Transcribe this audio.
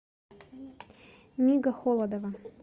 мига холодова